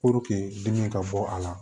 dimi ka bɔ a la